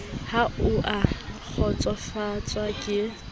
ha o a kgotsofatswa ke